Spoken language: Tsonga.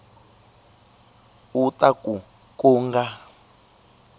u ta ku ku nga